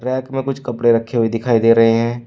Rack में कुछ कपड़े रखे हुए दिखाई दे रहे हैं।